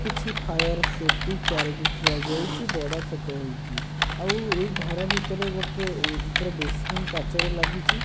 କିଛି fire safety ଚାରୋଟି ଥୁଆ ଯାଇଚି ବଡ଼ ଛୋଟ ହେଇକି ଆଉ ଏଇ ଘର ଭିତରେ ଗୋଟେ ଉ ଉପର ଡୋରସ୍କିନ୍ କାଚର ଲାଗିଚି।